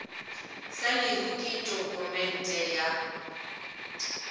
sa lehu ke tokumente ya